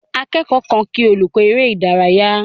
Akẹ́kọ̀ọ́ kan kí olùkọ́ eré ìdárayá.